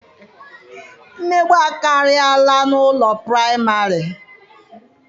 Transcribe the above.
Mmegbu akarịala n'ụlọ praịmarị.